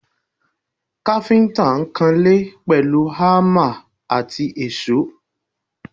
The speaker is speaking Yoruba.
Káfíńtà ń kan ilé pẹ̀lú hámà àti èṣó